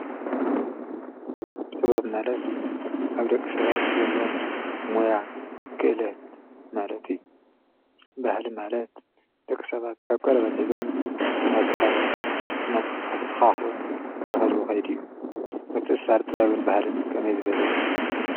ጥበብ ማለት ኣብ ደቂ ሰባት ዘሎ ሞያ ክእለት ማለት እዩ፡፡ ባህሊ ማለት ደቂ ሰባት ካብ ቀደምቶም ሒዞም እናተወራረሱን እናተተኻኽኡን ዝኸድዎ ኸይዲ እዩ፡፡ ምትእስሳር ጥበብን ባህልን ከመይ ዝበለ እዩ?